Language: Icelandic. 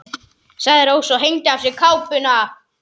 sagði Rósa og hengdi af sér kápuna.